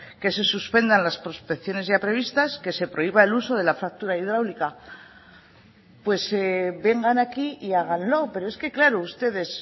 que se suspendan las prospecciones ya previstas que se prohíba el uso de la fractura hidráulica pues vengan aquí y háganlo pero es que claro ustedes